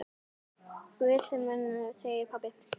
Guð geymi þig, pabbi minn.